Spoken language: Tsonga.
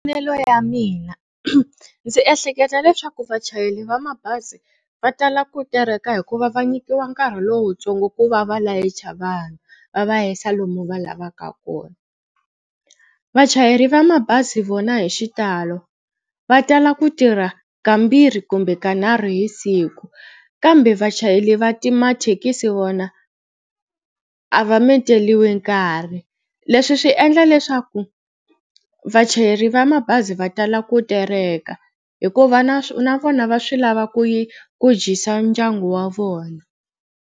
ya mina ndzi ehleketa leswaku vachayeri va mabazi va tala ku tereka hikuva va nyikiwa nkarhi lowutsongo ku va va layicha vanhu va va hisa lomu va lavaka kona. Vachayeri va mabazi vona hi xitalo va tala ku tirha kambirhi kumbe kanharhu hi siku kambe vachayeri va ti mathekisi vona a va menteliwi nkarhi Leswi swi endla leswaku vachayeri va mabazi va tala ku tereka hikuva na vona va swi lava ku yi ku dyisa ndyangu wa vona.